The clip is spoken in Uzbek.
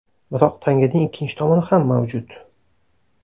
Biroq tanganing ikkinchi tomoni ham mavjud.